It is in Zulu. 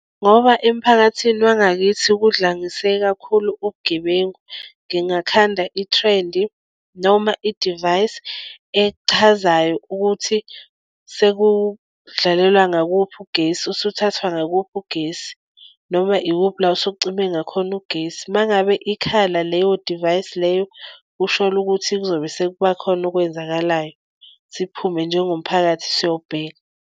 Ngoba emphakathini wangakithi kudlangise kakhulu ubugebengu ngingakanda ithrendi noma idivayisi echazayo ukuthi sekudlalelwa ngakuphi ugesi usuthathwa ngakuphi ugesi noma ikuphi la usucime ngakhona ugesi. Uma ngabe ikhala leyo divayisi leyo usholo ukuthi kuzobe sekubakhona okwenzakalayo, siphume njengomphakathi siyobheka.